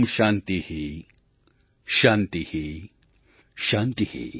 शान्ति शान्ति ||